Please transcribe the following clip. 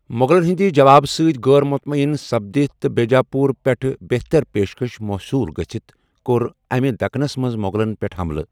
مُغلن ہِنٛدِ جوابہٕ سۭتۍ غٲر مُطمعیٖن سپدِتھ تہٕ بیجاپوٗرٕ پیٹھ بہتر پیشکش موصوٗل گژھِتھ كو٘ر امہِ دكنس منز مو٘غلن پیٹھ ہملہٕ ۔